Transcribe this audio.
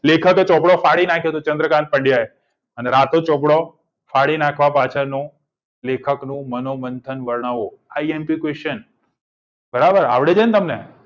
લેખકે ચોપડો ફાડી નાક્યો ચંદ્રકાંત પંડ્યાએ અને રાતો ચોપડો ફાડી નાખવાનું લેખકનું મંથન વર્ણન આવો imp પ્રશ્ન બરાબર આવડી ગયું તમને